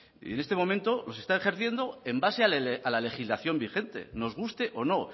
y en este momento los está ejerciendo en base a la legislación vigente nos guste o no